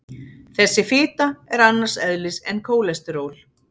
Þessi fita er annars eðlis en kólesteról.